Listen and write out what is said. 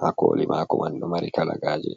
ha koli maako man do mari kalagaaje.